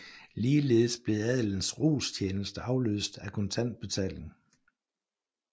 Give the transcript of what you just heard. Ligeledes blev adelens rostjeneste afløst af kontant betaling